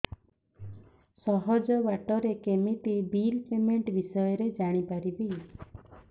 ସହଜ ବାଟ ରେ କେମିତି ବିଲ୍ ପେମେଣ୍ଟ ବିଷୟ ରେ ଜାଣି ପାରିବି